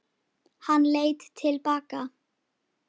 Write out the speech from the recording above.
Hann leit til baka.